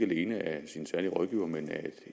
betjening af sin særlige rådgiver men af